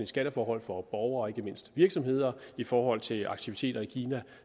skatteforhold for borgere og ikke mindst virksomheder i forhold til aktiviteter i kina